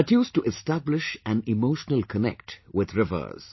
That used to establish an emotional connect with rivers